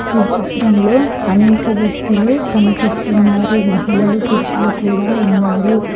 ఈ చిత్రంలో అనేక వ్యక్తులు కనిపిస్తున్నారు మహిళలు పురుషులు కూడా ఉన్నారు.